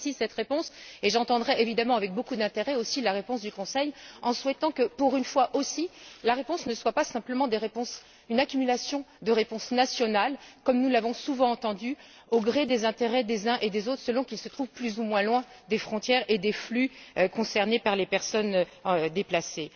Donc, j'apprécie cette réponse et j'entendrai évidemment avec aussi beaucoup d'intérêt la réponse du Conseil en souhaitant, que, pour une fois aussi, la réponse ne soit pas simplement une accumulation de réponses nationales, comme nous l'avons souvent entendu, au gré des intérêts des uns et des autres selon qu'ils se trouvent plus ou moins loin des frontières et des flux concernés par les personnes déplacées.